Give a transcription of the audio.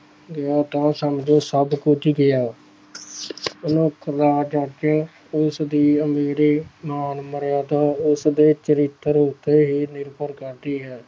ਗਿਆ ਤਾਂ ਸਮਝੋ ਸਭ ਕੁਛ ਗਿਆ ਉਸਦੀ ਅਮੀਰੀ ਨਾਲ ਮਰਿਆਦਾ ਉਸਦੇ ਚਰਿੱਤਰ ਉੱਤੇ ਹੀ ਨਿਰਭਰ ਕਰਦੀ ਹੈ।